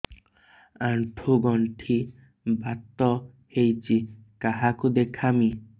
ଆଣ୍ଠୁ ଗଣ୍ଠି ବାତ ହେଇଚି କାହାକୁ ଦେଖାମି